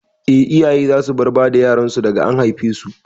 Eh, iyaye za su bar bada yaran su daga an haife su